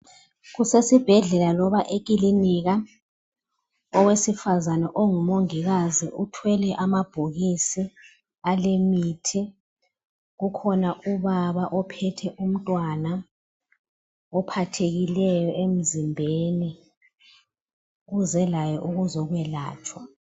Kusesibhedlela loba ekilinika, owesifazene ongumongikazi uthwele amabhokisi alemithi, kukhona ubaba ophethe umntwana ophathekileyo emzimbeni uze laye ukuzokwelatshwa.